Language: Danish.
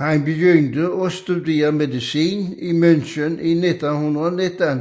Han begyndte at studere medicin i München i 1919